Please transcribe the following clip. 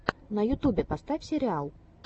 на ютьюбе поставь сериалы